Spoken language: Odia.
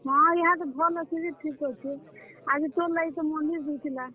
ହଁ, ଇହାଦେ ଭଲ୍ ଅଛେ ଯେ ଠିକ୍ ଅଛେ, ଆଜି ତୋର୍ ଲାଗି ତ ମନ୍ଦିର୍ ଯାଇଥିଲା।